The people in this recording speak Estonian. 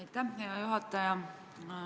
Aitäh, hea juhataja!